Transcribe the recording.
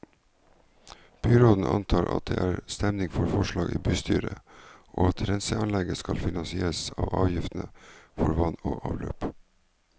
Byråden antar at det er stemning for forslaget i bystyret, og at renseanlegget skal finansieres av avgiftene for vann og avløp.